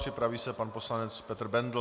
Připraví se pan poslanec Petr Bendl.